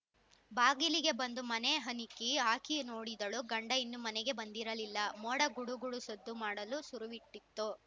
ಬಾಗಿಲಿಗೆ ಬಂದು ಮನೆ ಹನಿಕಿ ಹಾಕಿ ನೋಡಿದಳು ಗಂಡ ಇನ್ನೂ ಮನೆಗೆ ಬಂದಿರಲಿಲ್ಲ ಮೋಡ ಗುಡು ಗುಡು ಸದ್ದು ಮಾಡಲು ಸುರುವಿಟ್ಟಿತು